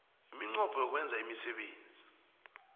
iminqopho yokwenza imisebenzi